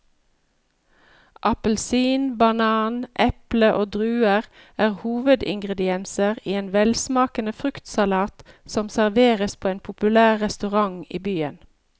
Appelsin, banan, eple og druer er hovedingredienser i en velsmakende fruktsalat som serveres på en populær restaurant i byen.